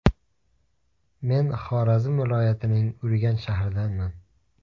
Men Xorazm viloyatining Urganch shahridanman.